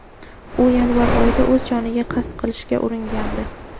u yanvar oyida o‘z joniga qasd qilishga uringandi.